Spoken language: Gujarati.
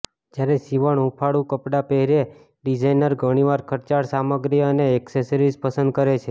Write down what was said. જ્યારે સીવણ હૂંફાળું કપડાં પહેરે ડિઝાઇનર ઘણીવાર ખર્ચાળ સામગ્રી અને એક્સેસરીઝ પસંદ કરે છે